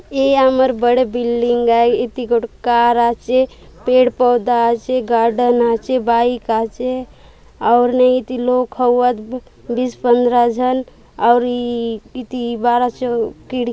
ये अमर बड़े बिल्डिंग आए इति गोड कार आचे पेड़-पौधा आचे गार्डन आचे बाइक आचे और न इति लोग हउअत बीस पंद्रह झन और ई इति बारह चौ --